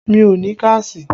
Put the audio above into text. Mi ò ní káàṣì